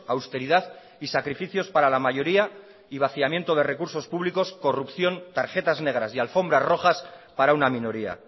austeridad y sacrificios para la mayoría y vaciamiento de recursos públicos corrupción tarjetas negras y alfombras rojas para una minoría